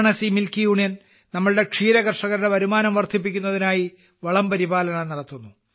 Varanasi milk union നമ്മുടെ ക്ഷീരകർഷകരുടെ വരുമാനം വർധിപ്പിക്കുന്നതിനായി വളം പരിപാലനം നടത്തുന്നു